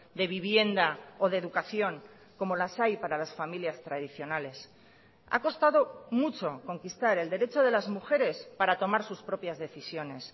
de vivienda o de educación como las hay para las familias tradicionales ha costado mucho conquistar el derecho de las mujeres para tomar sus propias decisiones